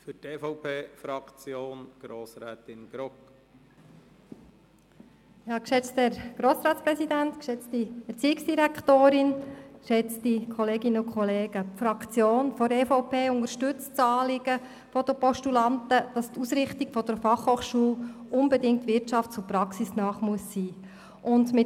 Die EVP-Fraktion unterstützt das Anliegen der Postulanten und ist ebenfalls der Meinung, dass die Ausrichtung der FH unbedingt wirtschafts- und praxisnahe sein muss.